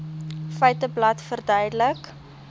feiteblad verduidelik